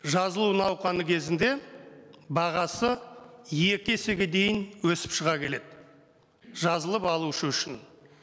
жазылу науқаны кезінде бағасы екі есеге дейін өсіп шыға келеді жазылып алушы үшін